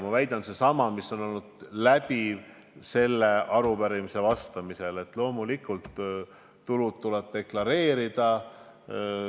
Mu väide on seesama, mis on olnud läbiv sellele arupärimisele vastamisel: loomulikult tulud tuleb deklareerida.